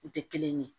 U tɛ kelen ye